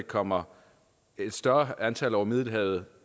kommer et større antal over middelhavet